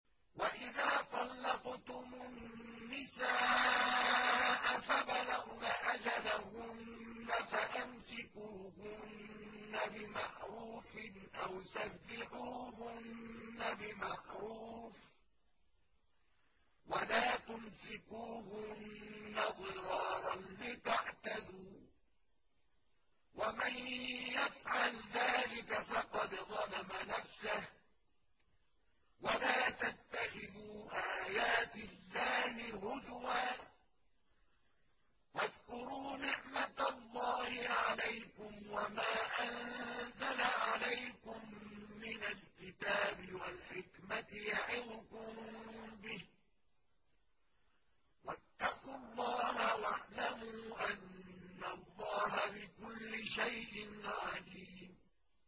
وَإِذَا طَلَّقْتُمُ النِّسَاءَ فَبَلَغْنَ أَجَلَهُنَّ فَأَمْسِكُوهُنَّ بِمَعْرُوفٍ أَوْ سَرِّحُوهُنَّ بِمَعْرُوفٍ ۚ وَلَا تُمْسِكُوهُنَّ ضِرَارًا لِّتَعْتَدُوا ۚ وَمَن يَفْعَلْ ذَٰلِكَ فَقَدْ ظَلَمَ نَفْسَهُ ۚ وَلَا تَتَّخِذُوا آيَاتِ اللَّهِ هُزُوًا ۚ وَاذْكُرُوا نِعْمَتَ اللَّهِ عَلَيْكُمْ وَمَا أَنزَلَ عَلَيْكُم مِّنَ الْكِتَابِ وَالْحِكْمَةِ يَعِظُكُم بِهِ ۚ وَاتَّقُوا اللَّهَ وَاعْلَمُوا أَنَّ اللَّهَ بِكُلِّ شَيْءٍ عَلِيمٌ